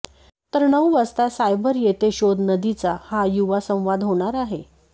तर नऊ वाजता सायबर येथे शोध नदीचा हा युवा संवाद होणार आहे